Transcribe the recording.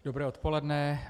Dobré odpoledne.